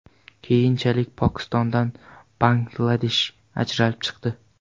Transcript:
Keyinchalik Pokistondan Bangladesh ajralib chiqdi.